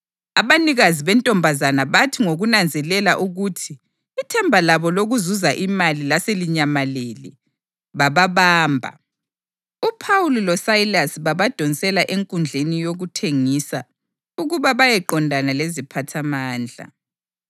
Abanikazi bentombazana bathi ngokunanzelela ukuthi ithemba labo lokuzuza imali laselinyamalele, bababamba, uPhawuli loSayilasi babadonsela enkundleni yokuthengisa ukuba bayeqondana leziphathamandla.